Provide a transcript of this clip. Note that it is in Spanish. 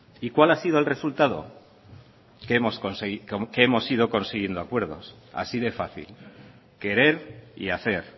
y cuál ha sido el resultado que hemos ido consiguiendo acuerdos así de fácil querer y hacer